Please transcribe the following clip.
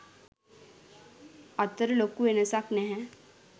අතර ලොකු වෙනසක් නැහැ.